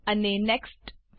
અને next next click કરો